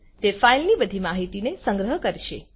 તે ફાઇલ ની બધી માહિતીને સંગ્રહ કરશે